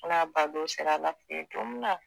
N'a bandon sera ALA fɛ yen don min na